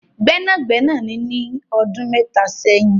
Gbẹ́nagbẹ́nà ni ní ọdún mẹ́ta sẹ́yìn